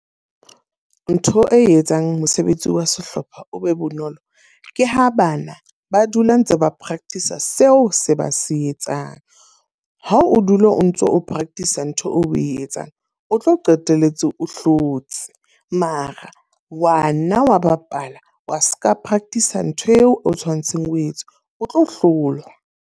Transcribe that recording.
Ntho e etsang mosebetsi wa sehlopha o be bonolo, ke ha bana ba dula ntse ba practice a seo se ba se etsang. Ha o dula o ntso o practice ntho o e etsang, o tlo qetelletse o hlotse. Mara wa nna wa bapala wa seka practice ntho eo o tshwanetseng o etse, o tlo hlolwa.